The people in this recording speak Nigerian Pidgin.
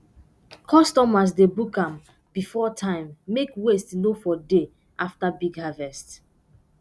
customers dey book um before time make waste no for dey after big harvest